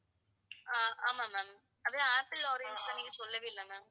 ஆஹ் ஆமா ma'am அதே apple, orange இன்னும் நீங்க சொல்லவேயில்லை ma'am